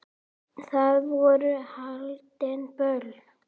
Þar voru haldin böll.